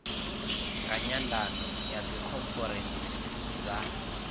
nga nyandano ya dzikhonferentsi dza